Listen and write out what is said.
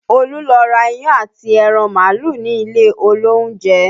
Olú lọ ra iyán àti ẹran màálù ní ilé olóúnjẹ